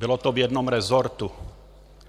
Bylo to v jednom resortu.